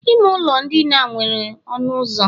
ime ụlọ ndina nwere ọnụ ụzọ